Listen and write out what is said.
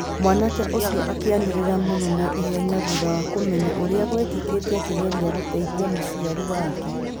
Mwanake ũcio akĩanĩrĩra mũno na ihenya thutha wa kũmenya ũrĩa gwekĩkĩte akĩgeragia gũteithia mũciari wake.